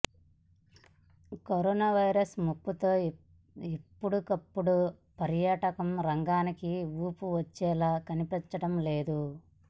corona virus ముప్పుతో ఇప్పుడప్పుడే పర్యాటక రంగానికి ఊపు వచ్చేలా కనిపించడం లేదు